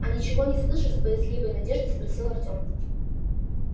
а ничего не слышишь с боязливой надеждой спросил артем